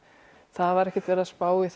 það var ekkert verið að spá í